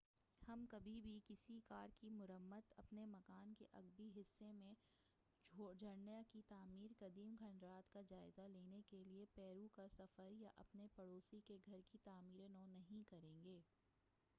ہم کبھی بھی کسی کار کی مرمت اپنے مکان کے عقبی حصہ میں جھرنا کی تعمیر قدیم کھنڈرات کا جائزہ لینے کیلئے پیرو کا سفر یا اپنے پڑوسی کے گھر کی تعمیرِ نو نہیں کرین گے